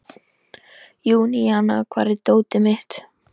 Júníana, hvar er dótið mitt?